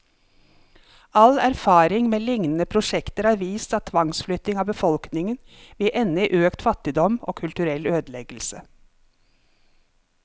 All erfaring med lignende prosjekter har vist at tvangsflytting av befolkningen vil ende i økt fattigdom, og kulturell ødeleggelse.